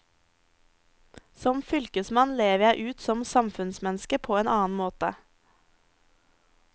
Som fylkesmann lever jeg ut som samfunnsmenneske på en annen måte.